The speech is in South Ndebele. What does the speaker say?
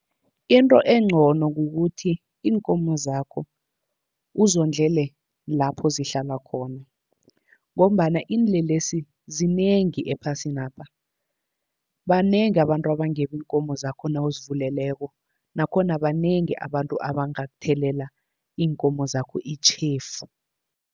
Into encono kukuthi iinkomo zakho uzondlele lapho zihlala khona, ngombana iinlelesi zinengi ephasinapha. Banengi abantu abangeba iinkomo zakho nawuzivuleleko, nakhona banengi abantu abangathelela iinkomo zakho itjhefu.